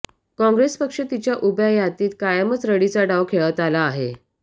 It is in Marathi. काँग्रेस पक्ष तिच्या उभ्या हयातीत कायमच रडीचा डाव खेळत आला आहे